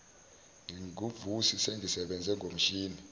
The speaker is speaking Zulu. nginguvusi sengisebenze ngomshini